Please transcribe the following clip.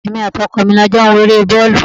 Èmi àti ọkọ mi la jọ ń wo ere boolu.